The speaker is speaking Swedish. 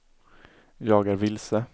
jag är vilse